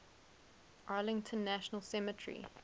arlington national cemetery